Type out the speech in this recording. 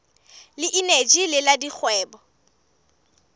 le eneji le la dikgwebo